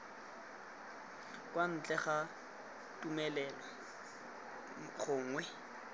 kwa ntle ga tumelelo gongwe